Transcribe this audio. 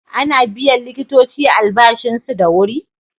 Ana biyan likitoci albashinsu da wuri?